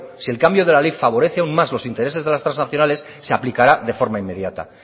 si el cambio de la ley favorece aún más los intereses de las trasnacionales se aplicará de forma inmediata